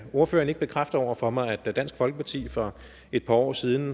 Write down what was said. ordføreren ikke bekræfte over for mig at da dansk folkeparti for et par år siden